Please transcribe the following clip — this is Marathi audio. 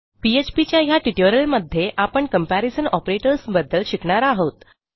पीएचपी च्या ह्या ट्युटोरियलमध्ये आपण कंपॅरिझन ऑपरेटर्स बद्दल शिकणार आहोत